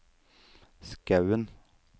Skaun